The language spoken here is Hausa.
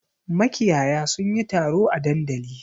Makiyaya sun yi taro a dandali.